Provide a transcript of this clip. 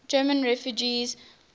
german refugees